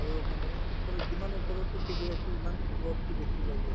আৰু মানে ওপৰত যিমান ওপৰত উঠি গৈ আছে ইমান ৰʼদতো বেছি লাগি আছে।